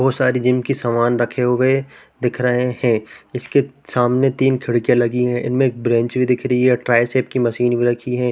बहुत सारी जिनकी सामान रखे हुए दिख रहै है उसके सामने तीन खिड़कियां लगी है इनमे एक ब्रेंच भी दिख रही है ट्राय शेप मशीन भी रखी है।